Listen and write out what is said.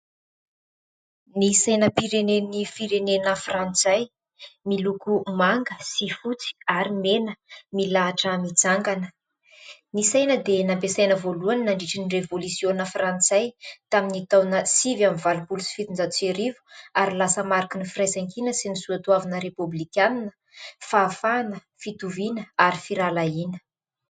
Ny saim-pirenen'ny firenena frantsay miloko manga sy fotsy ary mena milahitra mijangana. ny saina dia nampiasaina voalohany nandritra ny revolisiona frantsay tamin'ny taona sivy ambin'ny valopolo sy fitonjato sy arivo ary lasa mariky ny firaisankina sy ny soatoavina repoblikanina fahafahana, fitoviana ary firalahiana.